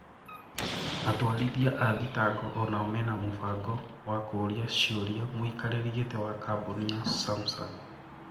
Atwarithia a thitango onao mena mubango wa kuria ciuria muikariri giti wa kambuni ya Samsang.